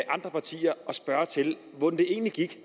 andre partier spørger til hvordan det egentlig gik